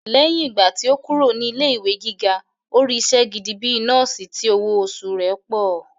Lẹ́yìn ìgbà tí ó kúrò ní ilé ìwé gíga, ó rí isẹ́ gẹ́gẹ́ bíi nọ́ọ̀sì tí owó oṣù rẹ̀ pọ̀